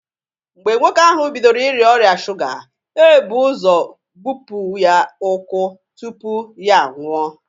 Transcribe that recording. Mgbe nwoke ahụ bidoro Ị rịa ọrịa shuga, e bu ụzọ gbupụ ya ụkwụ tupu ya a nwụọ.